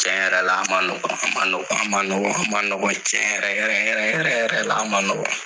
Ciɲɛ yɛrɛ yɛrɛ la, a man ,nɔgɔn, a man nɔgɔn a man nɔgɔn ,a ma nɔgɔn, ciɲɛ yɛrɛ yɛrɛ yɛrɛ yɛrɛla ma nɔgɔn.